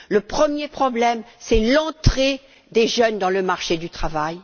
Le premier problème est l'entrée des jeunes dans le marché du travail.